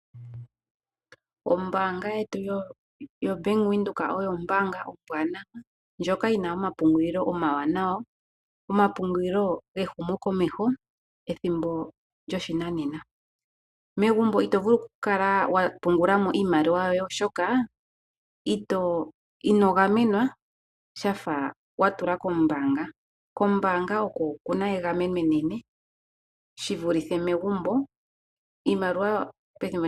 Ombaanga yetu yo Bank Windhoek oyo ombaanga ombwaanawa, ndjoka yi na omapungulilo omawanawa, omapungulilo gehumo komeho ethimbo lyoshinanena. Megumbo ito vulu oku kala wa pungulamo iimaliwa yoye, oshoka ino gamenwa, shafa wa tula kombaanga. Kombaanga oko ku na egameno enene shivulithe megumbo.